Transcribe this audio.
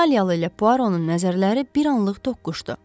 İtaliyalı ilə Puaronun nəzərləri bir anlıq toqquşdu.